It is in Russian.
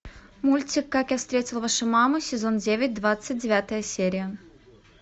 мультик как я встретил вашу маму сезон девять двадцать девятая серия